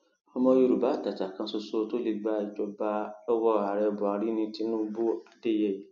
ọmọ yorùbá àtàtà kan ṣoṣo tó lè gba ìjọba lọwọ ààrẹ buhari ní tinubuadeyeyé